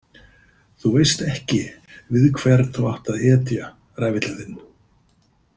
Þú veist ekki við hvern þú átt að etja, ræfillinn þinn